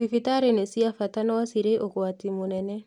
Thibitari nĩ cia bata no cirĩ ũgwati mũnene